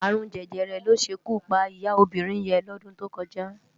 Arún Jẹjẹrẹ ló ṣé ikú pá iyá óbirin yèn lòdún tó kòjá